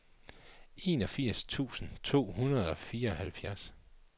enogfirs tusind to hundrede og fireoghalvfjerds